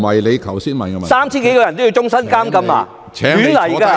難道那3000多人全都要終身監禁嗎？